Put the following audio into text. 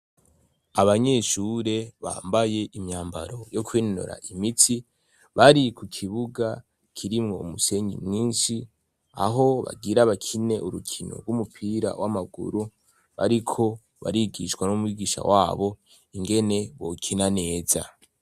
Abanyeshure bambaye imyambaro yo kwinonora imitsi, bari ku kibuga kirimwo umusenyi mwinshi, aho bagira bakine urukino rw'umupira w'amaguru, ariko barigishwa n'umwigisha wabo ingene bokina neza.